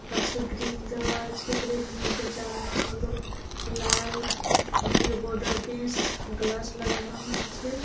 পাশে গ্রিল দেওয়া আছে। গ্রিল -এর মধ্যে জানলাগুলো লাল বর্ডার দিয়ে গ্লাস লাগানো হয়েছে।